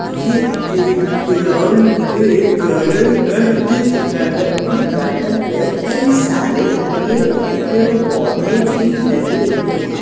ये एक ग्राउंड एक गार्डेन का चित्र है और इस गार्डेन में कई सारे हरे-भरे पेड़-पौधे भी लगे हुए हैं।